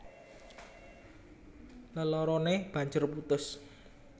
Leloroné banjur putus